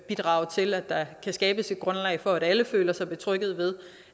bidrage til at der kan skabes et grundlag for at alle føler sig betrygget ved